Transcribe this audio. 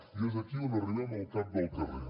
i és aquí on arribem al cap del carrer